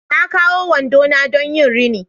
Na kawo wando na don yin rini